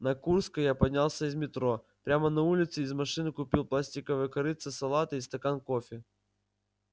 на курской я поднялся из метро прямо на улице из машины купил пластиковое корытце салата и стакан кофе